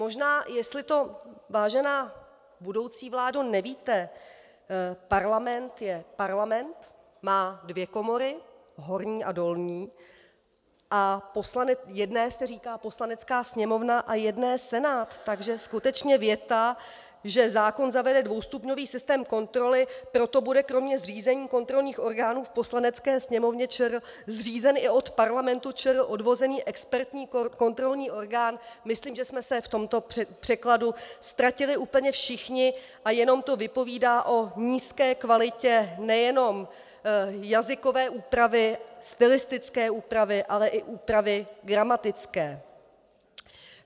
- Možná, jestli to, vážená budoucí vládo, nevíte, Parlament je Parlament, má dvě komory, horní a dolní, a jedné se říká Poslanecká sněmovna a jedné Senát, takže skutečně věta, že "zákon zavede dvoustupňový systém kontroly, proto bude kromě zřízení kontrolních orgánů v Poslanecké sněmovně ČR zřízen i od Parlamentu ČR odvozený expertní kontrolní orgán", myslím, že jsme se v tomto překladu ztratili úplně všichni a jenom to vypovídá o nízké kvalitě nejenom jazykové úpravy, stylistické úpravy, ale i úpravy gramatické.